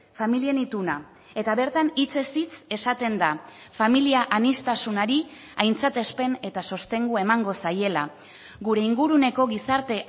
familien ituna eta bertan hitzez hitz esaten da familia aniztasunari aintzatespen eta sostengu emango zaiela gure inguruneko gizarte